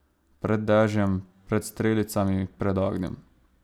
Pred dežjem, pred strelicami, pred ognjem.